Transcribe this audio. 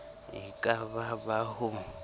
e ka ba ba ho